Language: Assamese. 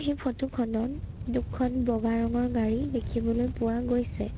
এই ফটো খনত দুখন বগা ৰঙৰ গাড়ী দেখিবলৈ পোৱা গৈছে।